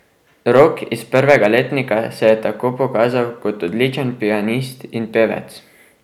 Rok iz prvega letnika se je tako pokazal kot odličen pianist in pevec.